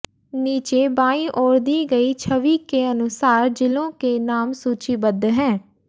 नीचे बायीं ओर दी गयी छवि के अनुसार जिलों के नाम सूचीबद्ध हैं